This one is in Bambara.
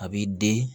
A b'i den